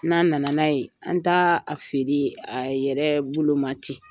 N'a nana n'a ye, an ta a feere a yɛrɛ boloma te.